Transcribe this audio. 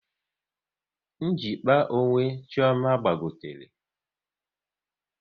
Njikpa onwe Chioma gbagotere